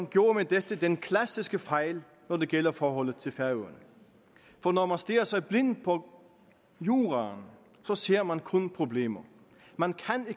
gjorde med dette den klassiske fejl når det gælder forholdet til færøerne for når man stirrer sig blind på juraen så ser man kun problemer man